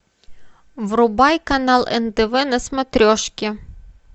врубай канал нтв на смотрешке